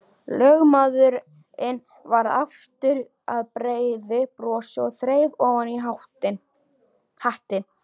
Lögmaðurinn varð aftur að breiðu brosi og þreif ofan hattinn.